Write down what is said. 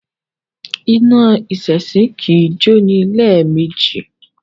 Iná èṣìṣì kì í jó ní lẹ́ẹ̀mejì